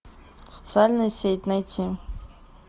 социальная сеть найти